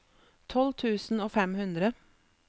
tolv tusen og fem hundre